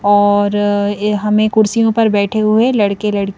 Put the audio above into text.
और हमें कुर्सियों पर बैठे हुए लड़के लड़की--